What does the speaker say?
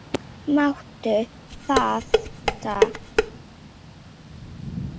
Máttu þetta ekki heita álög?